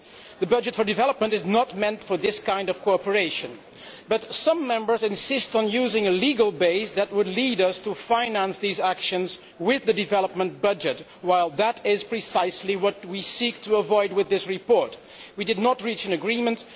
The budget for development is not meant for this kind of cooperation, but some Members insist on using a legal base that would lead us to finance these actions with the development budget while that is precisely what we seek to avoid with this report. We did not reach an agreement.